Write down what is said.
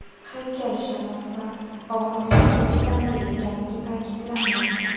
Haykal shamol va og‘irlikka chidamli ekanligi ta’kidlanmoqda.